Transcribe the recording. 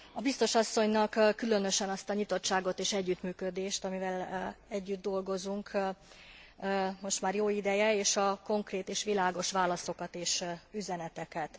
Biztos asszonynak különösen azt a nyitottságot és együttműködést, amivel együtt dolgozunk most már jó ideje és a konkrét és világos válaszokat és üzeneteket.